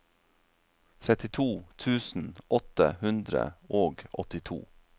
trettito tusen åtte hundre og åttito